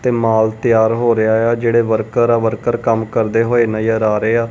ਤੇ ਮਾਲ ਤਿਆਰ ਹੋ ਰਿਹਾ ਆ ਜਿਹੜੇ ਵਰਕਰ ਆ ਵਰਕਰ ਕੰਮ ਕਰਦੇ ਹੋਏ ਨਜ਼ਰ ਆ ਰਹੇ ਆ।